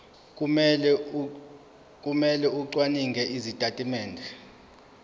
kumele acwaninge izitatimende